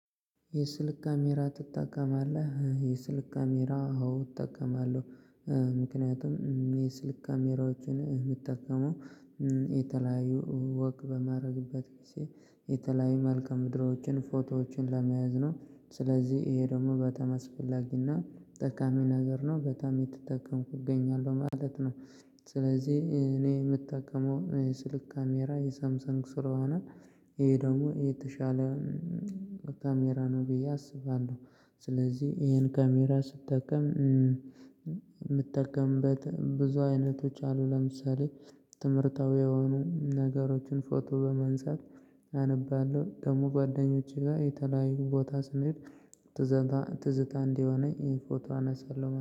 የስልክ ካሜራ ትጠቀማለህ? የስልክ ካሜራ አዎ እጠቀማለሁ። ምክንያቱም የስልክ ካሜራዎችን የምጠቀመው የተለያዩ ወክ በማድረግበት ጊዜ የተለያዩ መልክአ ምድሮችን ፎቶዎችን ለመያዝ ነው። ስለዚህ ይሄ ደግሞ በጣም አስፈላጊና ጠቃሚ ነገር ነው በጣም እየተጠቀምኩ እገኛለሁ ማለት ነው። ስለዚህ እኔ የምጠቀመው ስልክ ካሜራ የሳምሰንግ ስለ ሆነ ይሄ ደግሞ የተሻለ ካሜራ ነው ብዬ አስባለሁ። ስለዚህ ይሄን ካሜራ ስትጠቀም የምጠቀምበት ብዙ አይነቶች አሉ ለምሳሌ ትምህርታዊ የሆኑ ነገሮችን ፎቶ በማንሳት አነባለሁ ደግሞ ጓደኞቼ ጋር የተለያዩ ቦታ ስንሄድ ትዝታ ትዝታ እንዲሆነኝ ይሄ ፎቶ አነሳለሁ